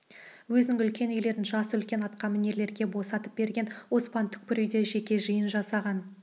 өзінің үлкен үйлерін жасы үлкен атқамінерлерге босатып берген оспан түкпір үйде жеке жиын жасаған